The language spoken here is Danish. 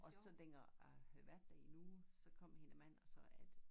Og så dengang at vi havde været der i en uge så kom hendes mand og sagde at